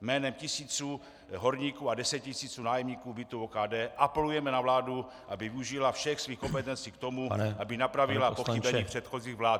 Jménem tisíců horníků a desetitisíců nájemníků bytů OKD apelujeme na vládu, aby využila všech svých kompetencí k tomu, aby napravila pochybení předchozích vlád.